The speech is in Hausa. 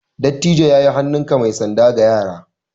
Dattijo ya yi hannunka mai sanda ga yara.